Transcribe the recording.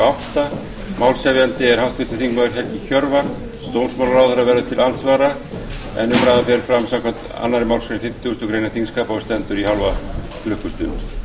átta málshefjandi er háttvirtur þingmaður helgi hjörvar dómsmálaráðherra verður til andsvara umræðan fer fram samkvæmt annarri málsgrein fimmtugustu grein þingskapa og stendur í hálfa klukkustund